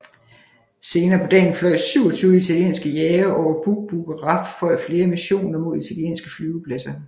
Senere på dagen fløj 27 italienske jagere over Buq Buq og RAF fløje flere missioner mod italienske flyvepladser